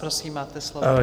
Prosím, máte slovo.